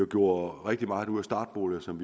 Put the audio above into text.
gjorde rigtig meget ud af startboliger som